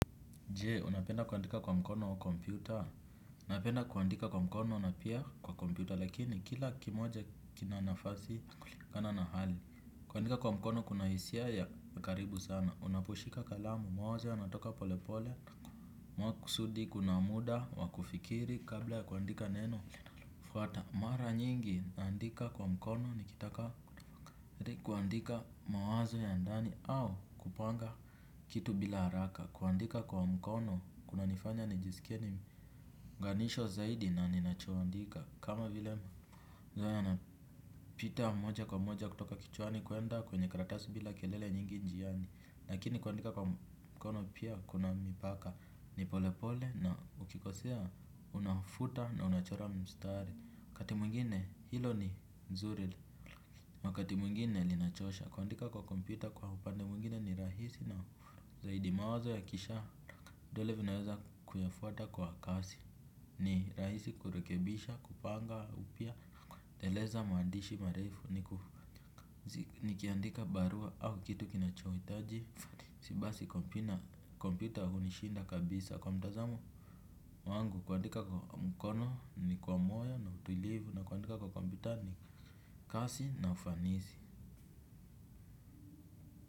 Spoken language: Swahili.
Je, unapenda kuandika kwa mkono wa kompyuta? Napenda kuandika kwa mkono na pia kwa kompyuta, lakini kila kimoja kina nafasi, kulingana na hali. Kuandika kwa mkono, kuna hisia ya, ukaribu sana. Unaposhika kalamu, moja, natoka polepole. Makusudi, kuna muda, wakufikiri, kabla ya kuandika neno. Fuata, mara nyingi, naandika kwa mkono, nikitaka. Kwa mkono, kuandika mawazo ya ndani, au kupanga kitu bila haraka. Kuandika kwa mkono kuna nifanya nijisikie ni mnganishwa zaidi na ninachoandika. Kama vile ma zoea na pita moja kwa moja kutoka kichwani kuenda kwenye karatasi bila kelele nyingi njiani. Lakini kuandika kwa mkono pia kuna mipaka. Ni pole pole na ukikosea unafuta na unachora mstari wakati mwingine hilo ni zuri wakati mwingine linachosha. Kuandika kwa kompyuta kwa upande mwingine ni rahisi na zaidi mawazo ya kisha dole vinaweza kunifuata kwa kasi, ni rahisi kurekebisha, kupanga, upya, kueleza maandishi, marefu, nikiandika barua au kitu kinachoitaji si basi kompyuta hunishinda kabisa kwa mtazamo wangu kuandika kwa mkono, ni kwa moyo, na utulivu, na kuandika kwa kompyuta ni kasi na ufanisi.